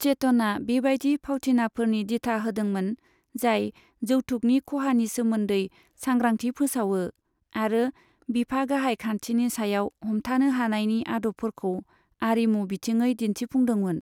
चेतनआ बेबायदि भावथिनाफोरनि दिथा होदोंमोन जाय जौथुकनि खहानि सोमोन्दै सांग्रांथि फोसावो आरो बिफा गाहाय खान्थिनि सायाव हमथानो हानायनि आदबफोरखौ आरिमु बिथिङै दिन्थिफुंदोंमोन।